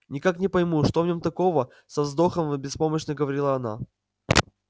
никак не пойму что в нём такого со вздохом беспомощно говорила она